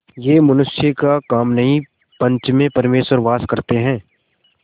यह मनुष्य का काम नहीं पंच में परमेश्वर वास करते हैं